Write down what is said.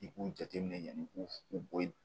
I b'u jateminɛ yanni i k'u u bɔ yi